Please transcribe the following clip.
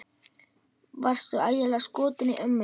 Varstu ægilega skotinn í ömmu?